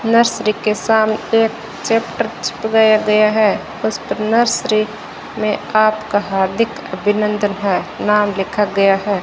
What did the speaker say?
Nursery के सामने एक चैप्टर चिप गया है उसपर नर्सरी मे आपका हार्दिक अभिनन्दन है नाम लिखा गया है।